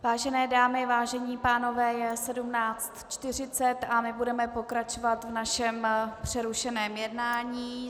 Vážené dámy, vážení pánové, je 17.40 a my budeme pokračovat v našem přerušeném jednání.